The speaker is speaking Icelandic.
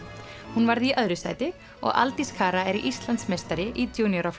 hún varð í öðru sæti og Aldís er Íslandsmeistari í